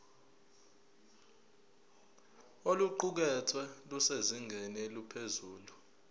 oluqukethwe lusezingeni eliphezulu